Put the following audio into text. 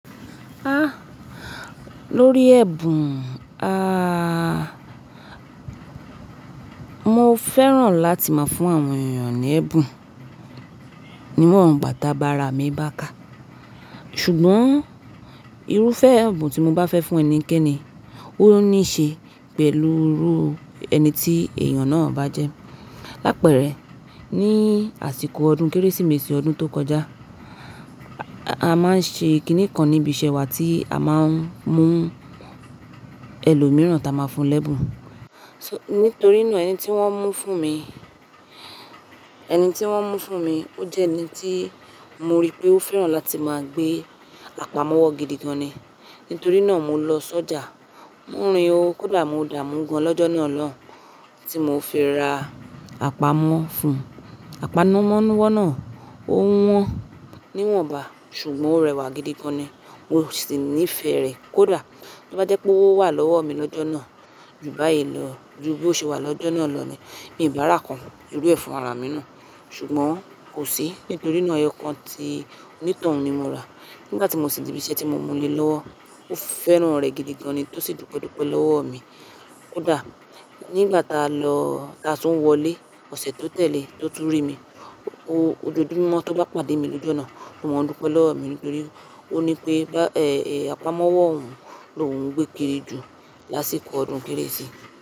Ah! Lórí ẹ̀bùn, ah, mo fẹ́ràn láti máa fún àwọn èèyàn ní ẹ̀bùn, níwọ̀n gbà ti agbára mi bá ká. Sugbọn irúfẹ́ ẹ̀bùn tí mo bá fẹ́ fún ẹnikẹ́ni, ó níí ṣe pẹ̀lú irú ẹni tí èèyàn náà bá jẹ́. Lápẹ́ rẹ̀, ní àsìkò ọdún Kérésìmesì ọdún tó kọjá, a máa ń ṣe kìnnì kan níbi ìṣẹ́ wa tí a máa ń mú ẹlòmíràn táa máa fún lẹ́bùn. Nítorí náà ẹni tí wọ́n mú fún mi, ẹni tí wọ́n mú fún mi, ó jẹ́ ẹni tí mo rí pé ó fẹ́ràn láti máa gbé àpamọ́wọ́ gidi gan-an ni. Nítorí náà mo lọ sọ́jà, mo rin o, kódà mo dààmú gan lọ́jọ́ náà lọun tí mo fi ra àpamọ́ fún un. Àpamọ́wọ́ náà ó wọ́n, níwọ̀n bá, ṣùgbọ́n ó rẹwà gidi gan-an ni. Mo sì níí ifè rè kódà, to bá jẹ́ pé ówo wà lọ́wọ́ mi lọ́jọ́ náà ju báyìí lọ, ju bí ó ṣe wà lọ́jọ́ náà lọ́ ni, mii bá rà kàn irú ẹ̀ fún ara mi náà. Sugbọn kò sí, nítorí náà ẹyọkan ti onítoun ni mo rà. Nígbà tí mo sì dé ibi ise tí mo mú lé lọ́wọ́, ó fẹ́ràn rẹ̀ gidi gan-an ni, to sì dúpẹ́ dúpẹ́ lọ́wọ́ mi. Kódà nígbà tá a lọ, tá a tún wọlé ọ̀sẹ̀ tó tẹ̀lé, tó tún rí mi, ó ojoójúmọ́ tó bá pàdé mi lọ́ju onà, ó mọn dúpẹ́ lọ́wọ́ mi nítorí ó ní pé, àpamọ́wọ́ òhun lóuń gbé kiri jù lásìkò ọdún Kérésì.